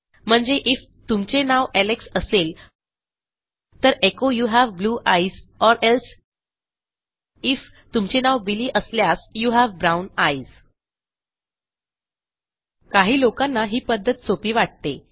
म्हणजे आयएफ तुमचे नाव एलेक्स असेल तर एचो you have blue eyes or else if तुमचे नाव बिली असल्यास यू हावे ब्राउन आयस काही लोकांना ही पध्दत सोपी वाटते